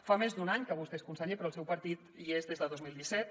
fa més d’un any que vostè és conseller però el seu partit hi és des de dos mil disset